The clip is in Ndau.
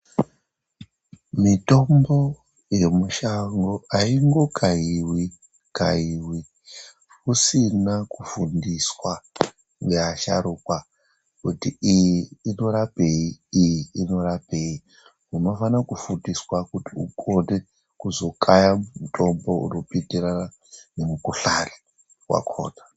Mitombo yemishango aingo kaiwi-kaiwi usina kufundiswa nevasharuka kuti iyi inorapei, iyi inorapei. Unofana kufundiswa kuti uzokona kukaya unopindirana nemikuhlani yakona.